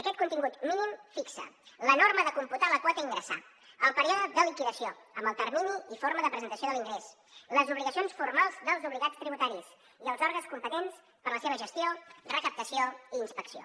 aquest contingut mínim fixa la norma de computar la quota a ingressar el període de liquidació amb el termini i forma de presentació de l’ingrés les obligacions formals dels obligats tributaris i els òrgans competents per a la seva gestió recaptació i inspecció